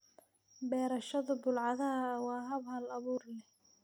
Beerashada bulaacadaha waa hab hal abuur leh.